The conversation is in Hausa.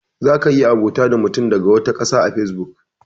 Za ka iya abota da mutum daga wata ƙasa a fesbuk.